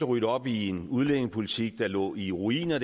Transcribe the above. rydde op i en udlændingepolitik der dengang lå i ruiner